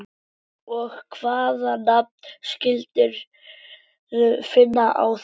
Og hvaða nafn skildirðu finna þá?